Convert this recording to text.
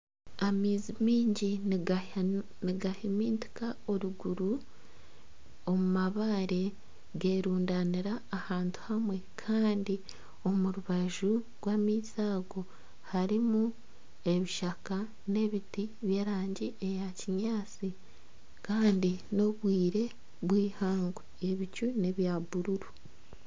Amaizi mingi nigahimitinka oruguru omu mabaare gerundanira ahantu hamwe kandi omu rubaju rw'amaizi ago harimu ebishaka n'ebiti by'erangi eya kinyaatsi kandi n'obwire bw'eihangwe ebicu nebya bururu.